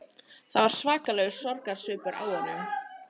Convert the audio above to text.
Það var svakalegur sorgarsvipur á honum